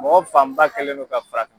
Mɔgɔ fanba kelen no ka fara